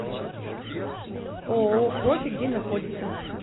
ооо профи где находится